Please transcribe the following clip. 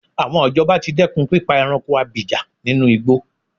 Àwọn ìjọba ti dẹ́kùn pípa ẹranko abìjà ninú igbó.